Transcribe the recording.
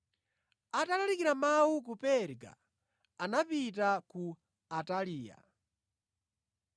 Atalalikira Mawu ku Perga, anapita ku Ataliya.